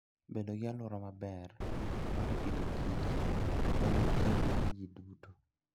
Bedo gi alwora maber mar Agriculture and Food en ting' mar ji duto.